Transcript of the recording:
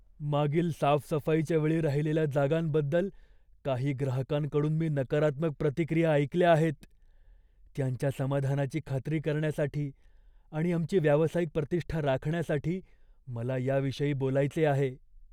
मागील साफसफाईच्या वेळी राहिलेल्या जागांबद्दल काही ग्राहकांकडून मी नकारात्मक प्रतिक्रिया ऐकल्या आहेत. त्यांच्या समाधानाची खात्री करण्यासाठी आणि आमची व्यावसायिक प्रतिष्ठा राखण्यासाठी मला याविषयी बोलायचे आहे.